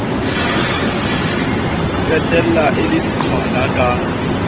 qetella e le diqhwala ka